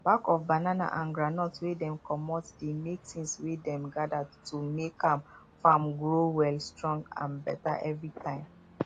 back of banana and groundnut wey dem comot dey make tins wey dem gather to make um farm grow well strong and better every time